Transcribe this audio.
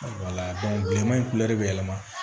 bileman in bɛ yɛlɛma